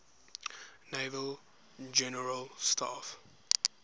naval general staff